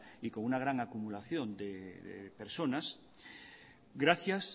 y con una gran acumulación de personas gracias